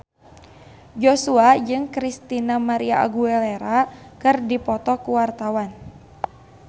Joshua jeung Christina María Aguilera keur dipoto ku wartawan